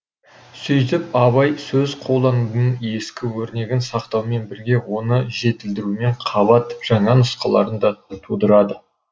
сөйтіп абай сөз қолданудың ескі өрнегін сақтаумен бірге оны жетілдірумен қабат жаңа нұсқаларын да тудырады